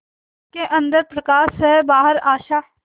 उसके अंदर प्रकाश है बाहर आशा